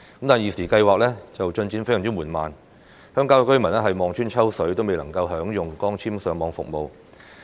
但是，現時資助計劃的進展非常緩慢，鄉郊居民望穿秋水都未能享用光纖上網服務。